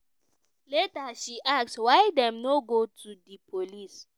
later she ask: "why dem no go to di police?